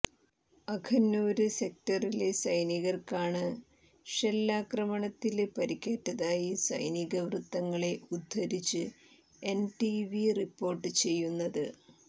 അഖനൂര് സെക്ടറിലെ സൈനികര്ക്കാണ് ഷെല്ലാക്രമണത്തില് പരിക്കേറ്റതായി സൈനിക വൃത്തങ്ങളെ ഉദ്ധരിച്ച് എന്ഡിടിവി റിപ്പോര്ട്ട് ചെയ്യുന്നത്